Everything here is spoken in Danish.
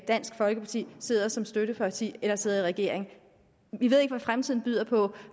dansk folkeparti sidder som støtteparti eller sidder i regering vi ved ikke hvad fremtiden byder på